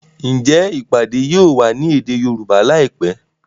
Njé ìpàdé yóò wá ní èdè Yorùbá láìpé?